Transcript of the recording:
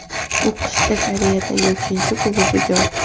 U qishda Koreyadagi uchinchi klubiga o‘tdi.